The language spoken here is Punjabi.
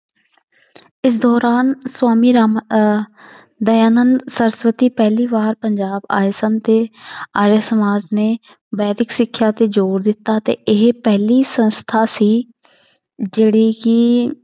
ਇਸ ਦੌਰਾਨ ਸਵਾਮੀ ਰਾਮਾ ਅਹ ਦਯਾਨੰਦ ਸਰਸਵਤੀ ਪਹਿਲੀ ਵਾਰ ਪੰਜਾਬ ਆਏ ਸਨ ਤੇ ਆਰੀਆ ਸਮਾਜ ਨੇ ਵੈਦਿਕ ਸਿੱਖਿਆ ਤੇ ਜ਼ੋਰ ਦਿੱਤਾ ਤੇ ਇਹ ਪਹਿਲੀ ਸੰਸਥਾ ਸੀ ਜਿਹੜੀ ਕਿ